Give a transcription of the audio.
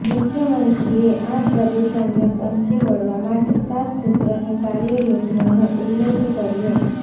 મુખ્યમંત્રીએ આ પ્રદૂષણને પહોંચી વળવા માટે સાત સૂત્રની કાર્ય યોજનાનો ઉલ્લેખ કર્યો